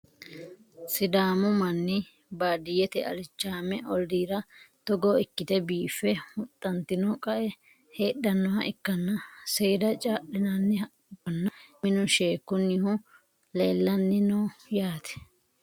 sidaamu manni baadiyyete alichaame olliira togo ikkite biiffe huxxantino qae heedhannoha ikkanna, seeda caa'linanni haqqichonna minu sheekkunnihu leelanno yaate .